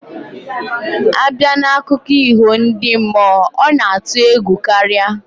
Abia na akụko iho ndi mmuo, ona atu egwu karia